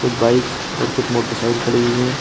कुछ बाइक और कुछ मोटरसाइकिल खड़ी हुई है।